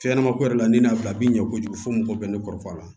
Fɛnɲɛnamako yɛrɛ la ni n'a bila bi ɲɛ kojugu fɔ fo mɔgɔw bɛ ne kɔrɔfɔ a la